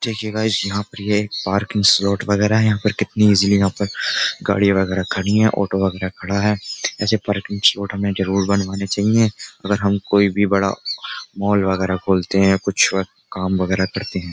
देखिये गाइस यहाँ पे ये पार्किंग स्लॉट वगेरा है यहाँ पर कितनी ईजिली यहाँ पर गाड़ी वगेरा खड़ी है। ऑटो वगेरा खड़ा है। ऐसे पार्किंग स्लॉट हमें जरुर बनवानी चाहिए अगर हम कोई भी बड़ा मॉल वगेरा खोलते हैं कुछ काम वगेरा करते हैं।